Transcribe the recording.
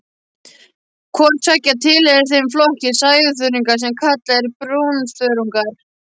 Hvort tveggja tilheyrir þeim flokki sæþörunga sem kallaður er brúnþörungar.